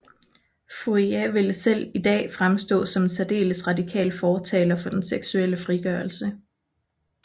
Fourier ville selv i dag fremstå som en særdeles radikal fortaler for den seksuelle frigørelse